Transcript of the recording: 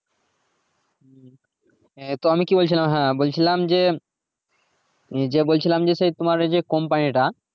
তো আমি কি বলছিলাম যে হ্যাঁ যে বলছিলাম তোমার ওই company টা